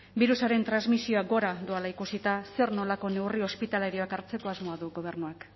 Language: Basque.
birusaren transmisioa gora doala ikusita zer nolako neurri ospitalarioak hartzeko asmoa du gobernuak